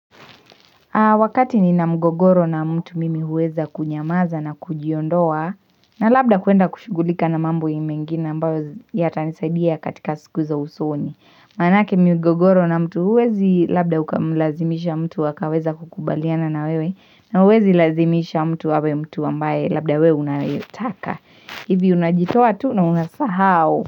Wakati nina mgogoro na mtu mimi huweza kunyamaza na kujiondoa na labda kuenda kushughulika na mambo mengine ambayo yatanisaidia katika siku za usoni. Maanake migogoro na mtu huwezi labda ukamlazimisha mtu akaweza kukubaliana na wewe na huwezi lazimisha mtu awe mtu ambaye labda we unayetaka. Hivi unajitoa tu na unasahau.